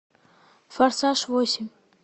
форсаж восемь